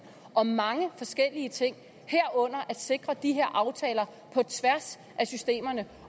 om mange forskellige ting herunder at sikre de her aftaler på tværs af systemerne